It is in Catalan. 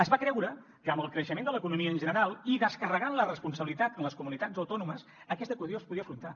es va creure que amb el creixement de l’economia en general i descarregant la responsabilitat en les comunitats autònomes aquesta qüestió es podia afrontar